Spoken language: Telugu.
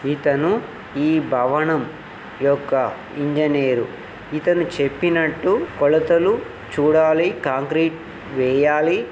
ఇతను ఈ భవనం యొక్క ఇంజనీర్ ఇతను చెప్పినట్టు కొలతలు చూడాలి కాంక్రీట్ వేయాలి.